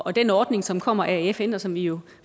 og den ordning som kommer af fn og som vi jo